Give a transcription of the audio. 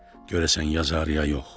Görəsən yazar, ya yox?